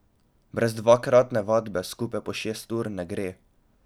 Brez dvakratne vadbe, skupaj po šest ur, ne gre.